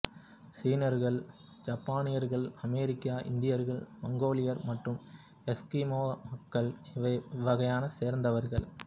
சீனர்கள் ஜப்பானியர்கள் அமெரிக்க இந்தியர்கள் மங்கோலியர் மற்றும் எஸ்கிமோக்கள் இவ்வகையைச் சேர்ந்தவர்கள்